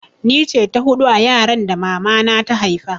Ni ce ta hudu a yaran da mama na ta haifa